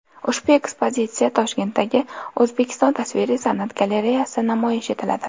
Ushbu ekspozitsiya Toshkentdagi O‘zbekiston tasviriy san’at galereyasida namoyish etiladi.